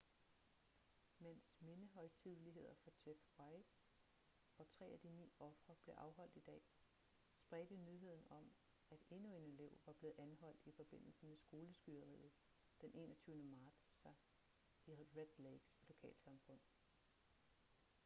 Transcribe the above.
mens mindehøjtideligheder for jeff weise og tre af de ni ofre blev afholdt i dag spredte nyheden om at endnu en elev var blevet anholdt i forbindelse med skoleskyderiet d 21. marts sig i red lakes lokalsamfund